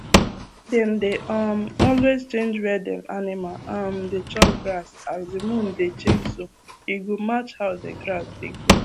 dem dey um always change where dem animal um dey chop grass as the moon dey changeso e go match how the grass dey grow